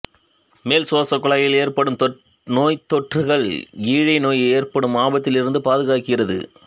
மேல் சுவாசக்குழாயில் ஏற்படும் நோய்த்தொற்றுகள் ஈழை நோய் ஏற்படும் ஆபத்திலிருந்து பாதுக்காக்கிறது